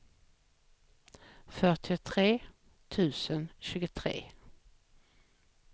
fyrtiotre tusen tjugotre